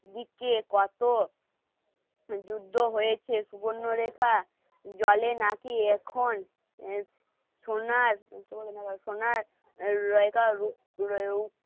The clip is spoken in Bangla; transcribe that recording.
দিচ্ছে কত যুদ্ধ হয়েছে সুবর্ণরেখা জলে নাকি এখন সোনার সোনার